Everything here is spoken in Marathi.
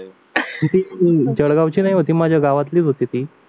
जळगावची नव्हती माझ्या गावातलीच होती